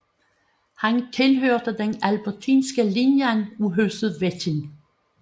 Han tilhørte den albertinske linje af Huset Wettin